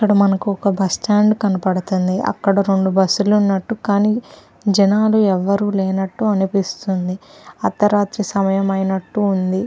ఇక్కడ మనకు ఒక బస్ స్టాండ్ కనపడతుంది అక్కడ రెండు బస్ లు ఉన్నట్టు కానీ జనాలు ఎవ్వరూ లేనట్టు అనిపిస్తుంది అర్ధరాత్రి సమయం అయినట్టు ఉంది.